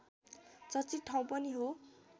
चर्चित ठाउँ पनि हो